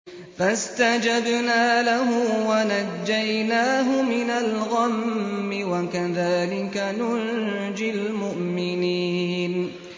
فَاسْتَجَبْنَا لَهُ وَنَجَّيْنَاهُ مِنَ الْغَمِّ ۚ وَكَذَٰلِكَ نُنجِي الْمُؤْمِنِينَ